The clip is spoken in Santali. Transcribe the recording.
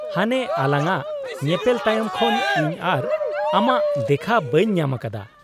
-ᱦᱟᱱᱮ ᱟᱞᱟᱝᱼᱟᱜ ᱧᱮᱯᱮᱞ ᱛᱟᱭᱚᱢ ᱠᱷᱚᱱ ᱤᱧ ᱟᱨ ᱟᱢᱟᱜ ᱫᱮᱠᱷᱟ ᱵᱟᱹᱧ ᱧᱟᱢ ᱟᱠᱟᱫᱟ ᱾